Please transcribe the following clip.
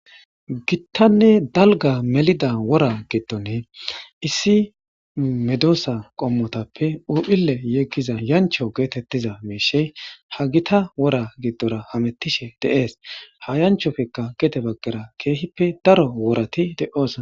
Gittanne dalga melida wora giddonne issi medoosa qommotappe phuuphphulle yeggiza yancho geetettiza miishey ha gita wora giddora hamettishe deees. Ha yanchoppekka geede baggera keehippe daro worati de7oosona.